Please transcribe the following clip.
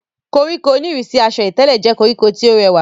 koríko oníìrísí asọ ìtẹ̀lẹ̀ jẹ́ koríko tí ó rẹwà